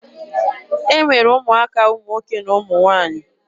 E nwere ụmụaka ụmụ nwoke na ụmụ nwaanyị.